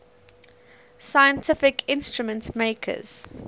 scientific instrument makers